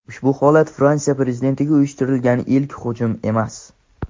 Ushbu holat Fransiya Prezidentiga uyushtirilgan ilk hujum emas.